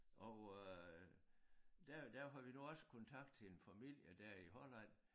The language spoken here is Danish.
Og øh der der havde vi nu også kontakt til en familie der i Holland